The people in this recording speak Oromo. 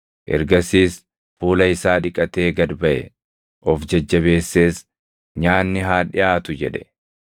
Ergasiis fuula isaa dhiqatee gad baʼe; of jajjabeessees, “Nyaanni haa dhiʼaatu” jedhe.